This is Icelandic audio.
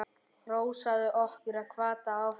Hrósaði okkur og hvatti áfram.